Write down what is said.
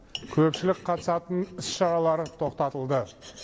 көпшілік қатысатын іс шаралар тоқтатылды